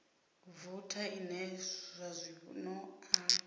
voutha ine zwa zwino a